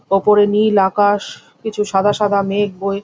উপরে নীল আকাশ-শ কিছু সাদা সাদা মেঘ বয়ে--